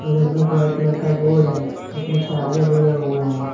बगल में white colour का बोर्ड है उसमें चार्जर लगा हुआ है।